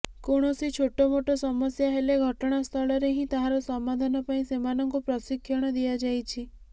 କୌଣସି ଛୋଟମୋଟ ସମସ୍ୟା ହେଲେ ଘଟଣାସ୍ଥଳରେ ହିଁ ତାହାର ସମାଧାନ ପାଇଁ ସେମାନଙ୍କୁ ପ୍ରଶିକ୍ଷଣ ଦିଆଯାଇଛି